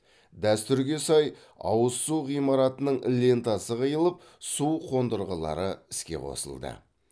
дәстүрге сай ауыз су ғимаратының лентасы қиылып су қондырғылары іске қосылды